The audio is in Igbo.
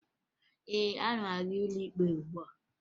Ee, ana m aga n'ụlọ ikpe ugbua